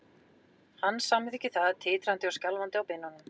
Hann samþykkir það, titrandi og skjálfandi á beinunum.